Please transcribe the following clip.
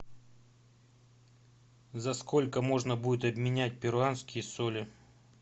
за сколько можно будет обменять перуанские соли